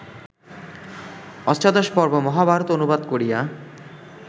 অষ্টাদশপর্ব মহাভারত অনুবাদ করিয়া